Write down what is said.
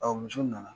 muso nana